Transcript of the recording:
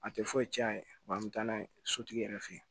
A tɛ foyi tiɲɛ a ye wa an bɛ taa n'a ye sotigi yɛrɛ fɛ yen